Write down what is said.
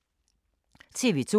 TV 2